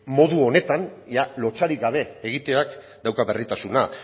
modu honetan ia lotsarik gabe egiteak dauka berritasuna